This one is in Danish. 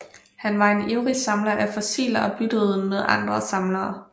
Han var en ivrig samler af fossiler og byttede med andre samlere